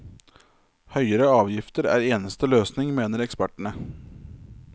Høyere avgifter er eneste løsning, mener ekspertene.